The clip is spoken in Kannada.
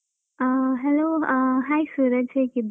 ಅಹ್ hello ಅಹ್ hai ಸೂರಜ್. ಹೇಗಿದ್ದಿ?